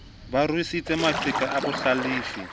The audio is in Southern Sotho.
ba ruisitse maqheka a bohlalefi